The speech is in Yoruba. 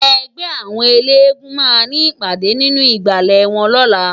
Ègbè áwòn éléègúùn má ni ipàdé ninú igbále wòn lòlá